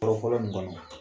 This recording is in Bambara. Yɔrɔ fɔlɔ in kɔni na